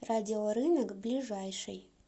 радиорынок ближайший